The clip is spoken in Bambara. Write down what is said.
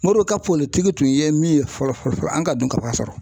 Modibo ka tun ye min ye fɔlɔ fɔlɔ an ka dunkafa sɔrɔ